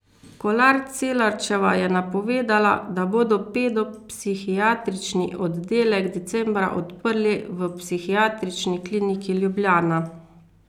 Kolar Celarčeva je napovedala, da bodo pedopsihiatrični oddelek decembra odprli v Psihiatrični kliniki Ljubljana.